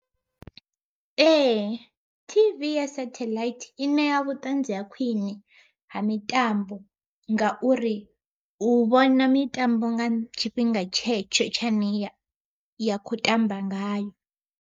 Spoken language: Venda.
Ee T_V ya satheḽaithi i ṋea vhutanzi ha khwiṋe ha mitambo, ngauri u vhona mitambo nga tshifhinga tshetsho tsha yane ya kho tamba ngayo.